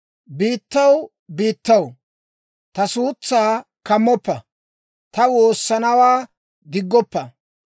«Biittaw, biittaw, ta suutsaa kammoppa; taani waassanawaa diggoppa.